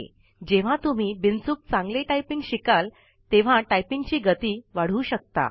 जेव्हा तुम्ही विनाचूक चांगली टाइपिंग शिकाल तेव्हा टाइपिंगची गती वाढवू शकता